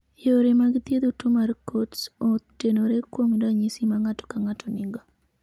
Yore mag thiedho tuo mar Coats otenore kuom ranyisi ma ng'ato ka ng'ato nigo.